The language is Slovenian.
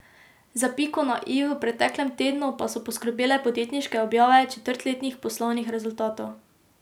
Za piko na i v preteklem tednu pa so poskrbele podjetniške objave četrtletnih poslovnih rezultatov.